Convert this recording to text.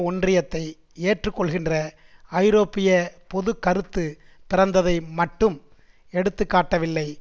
ஒன்றியத்தை ஏற்றுக்கொள்கின்ற ஐரோப்பிய பொதுக்கருத்து பிறந்ததை மட்டும் எடுத்துக்காட்டவில்லை